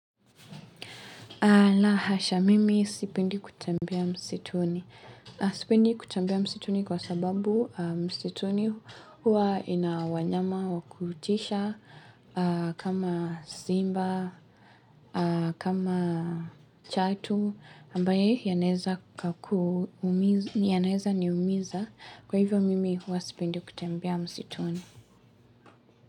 La hasha, mimi sipendi kutembea msituni. Sipendi kutembea msituni kwa sababu msituni huwa ina wanyama wa kutisha kama simba, kama chatu, ambaye yanaweza niumiza kwa hivyo mimi huwa sipendi kutembea msituni.